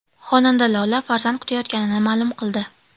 Xonanda Lola farzand kutayotganini ma’lum qildi.